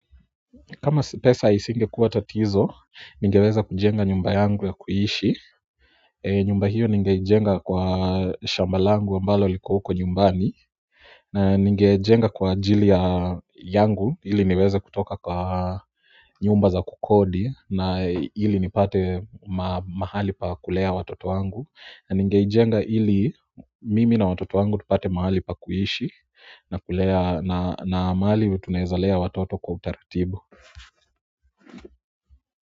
Kama si pesa isingekuwa tatizo ningeweza kujenga nyumba yangu ya kuishi nyumba hio ningeijenga kwa shamba langu ambalo liko huko nyumbani na ningejenga kwa ajili yangu ili niweze kutoka kwa nyumba za kukodi na ili nipate mahali pa kulea watoto wangu na ningeijenga ili mimi na watoto wangu tupate mahali pa kuishi na kulea na mahali tunaeza lea watoto kwa utaratibu.